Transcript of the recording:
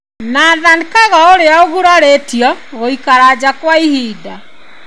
Nathan Kago ũrĩa ũgurarĩtio gũikara nja kwa ihinda.